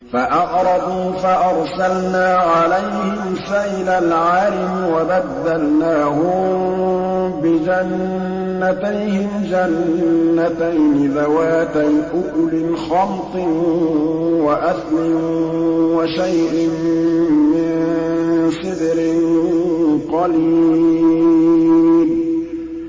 فَأَعْرَضُوا فَأَرْسَلْنَا عَلَيْهِمْ سَيْلَ الْعَرِمِ وَبَدَّلْنَاهُم بِجَنَّتَيْهِمْ جَنَّتَيْنِ ذَوَاتَيْ أُكُلٍ خَمْطٍ وَأَثْلٍ وَشَيْءٍ مِّن سِدْرٍ قَلِيلٍ